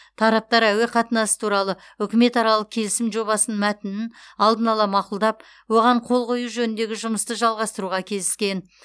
тараптар әуе қатынасы туралы үкіметаралық келісім жобасының мәтінін алдын ала мақұлдап оған қол қою жөніндегі жұмысты жалғастыруға келіскен